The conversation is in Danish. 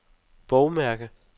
bogmærke